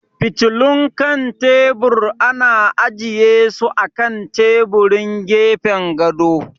Fitilun kan tebur ana ajiye su a kan taburin gefen gado.